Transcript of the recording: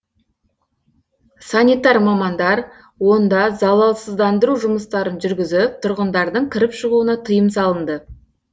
санитар мамандар онда залалсыздандыру жұмыстарын жүргізіп тұрғындардың кіріп шығуына тыйым салынды